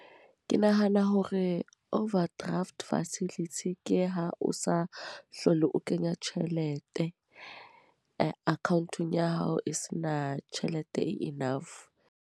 Ke nahana hore overdraft facility, ke ha o sa hlole o kenya tjhelete account-ong ya hao. E se na tjhelete e enough.